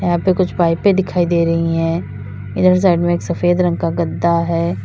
यहां पे कुछ पाइपें दिखाई दे रही हैं इधर साइड में एक सफेद रंग का गद्दा है।